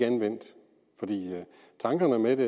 anvendt for tankerne med det